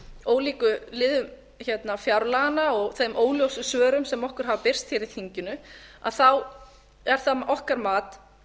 ólíkum liðum fjárlaganna og þeim óljósu svörum sem okkur hafa birst hér í þinginu er það okkar mat